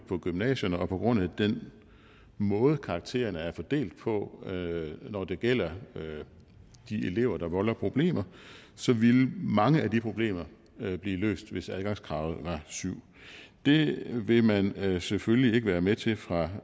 på gymnasierne og på grund af den måde karaktererne er fordelt på når det gælder de elever der volder problemer ville mange af de problemer blive løst hvis adgangskravet var syvende det vil man selvfølgelig ikke være med til fra